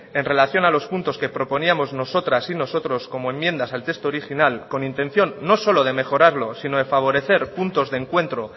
en relación a los puntos que proponíamos nosotras y nosotros como enmiendas al texto original con intención no solo de mejorarlo sino de favorecer puntos de encuentro